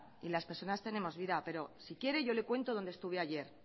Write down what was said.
y las personas tenemos vida pero si quiere yo le cuento dónde estuve ayer